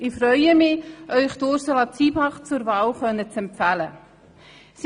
Ich freue mich, Ihnen Ursula Zybach zur Wahl empfehlen zu können.